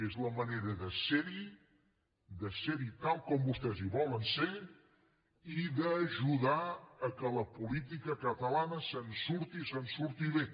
és la manera de ser hi de ser hi tal com vostès hi volen ser i d’ajudar que la política catalana se’n surti i se’n surti bé